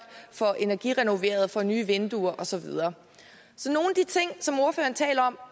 får energirenoveret får nye vinduer og så videre så nogle af de ting som ordføreren taler om